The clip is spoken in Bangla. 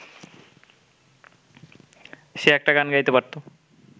সে একটা গান গাইতে পারত।